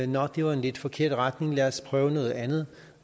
nå det var en lidt forkert retning lad os prøve noget andet